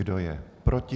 Kdo je proti?